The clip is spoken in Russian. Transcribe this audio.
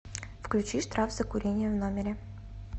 включи штраф за курение в номере